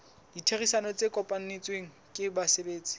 ditherisano tse kopanetsweng ke basebetsi